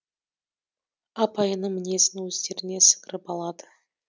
апайының мінезін өздеріне сіңіріп алады